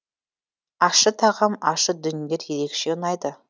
ащы тағам ащы дүниелер ерекше ұнайды